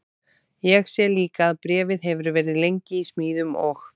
Ég sé líka að bréfið hefur verið lengi í smíðum og